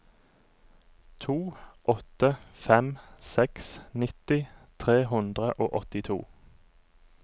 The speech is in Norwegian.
to åtte fem seks nitti tre hundre og åttito